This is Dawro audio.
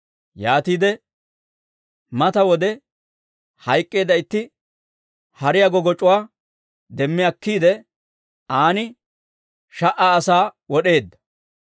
Yaatiide mata wode hayk'k'eedda itti hariyaa goggoc'c'uwaa demmi akkiide, an sha"a asaa wod'eedda.